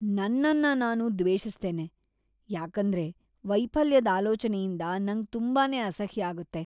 ನನ್ನನ್ನ ನಾನ ದ್ವೇಷಿಸ್ತನೆ, ಯಾಕಂದರ್ ವೈಫಲ್ಯದ್ ಆಲೋಚನೆಯಿಂದ ನಂಗ್ ತುಂಬಾನೇ ಅಸಹ್ಯ ಆಗುತ್ತೆ.